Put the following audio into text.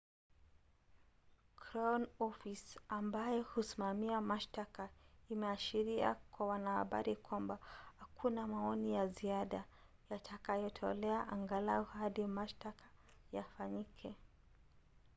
crown office ambayo husimamia mashtaka imeashiria kwa wanahabari kwamba hakuna maoni ya ziada yatakayotolewa angalau hadi mashtaka yafanyike